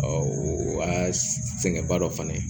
o y'a sɛgɛnba dɔ fana ye